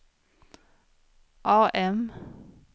AM